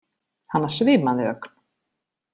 Hana svimaði ögn.